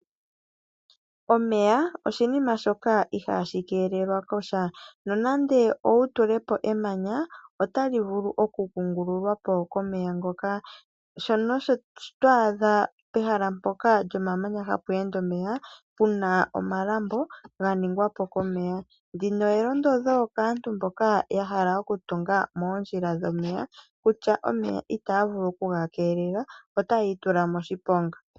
Omeya oshinima shoka ihaashi keelelwa kosha, nonando owutule po emanya otali vulu okukungululwa po komeya ngoka. Sho osho twaadha pehala mpoka lyomamanya hapu ende omeya puna omalambo ganingwa po komeya. Ndino elondodho kaantu mboka yahala okutunga moondjila dhomeya, kutya omeya itaya vulu okuga keelela otaya itula moshiponga.